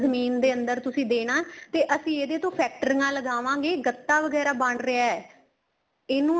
ਜ਼ਮੀਨ ਦੇ ਅੰਦਰ ਤੁਸੀਂ ਦੇਣਾ ਤੇ ਅਸੀਂ ਇਹਦੇ ਤੋਂ ਫ਼ੈਕਟਰੀਆਂ ਲਗਾਵਾਗੇ ਗੱਤਾ ਵਗੈਰਾ ਬਣ ਰਿਹਾ ਏ ਇਹਨੂੰ